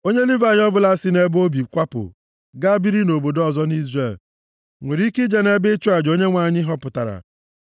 Onye Livayị ọbụla si nʼebe o bi kwapụ gaa biri nʼobodo ọzọ nʼIzrel nwere ike ije nʼebe ịchụ aja Onyenwe anyị họpụtara,